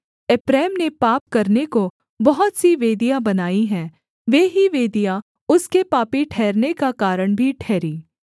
एप्रैम ने पाप करने को बहुत सी वेदियाँ बनाई हैं वे ही वेदियाँ उसके पापी ठहरने का कारण भी ठहरीं